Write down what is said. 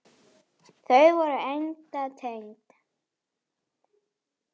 Þau væru enda tengd.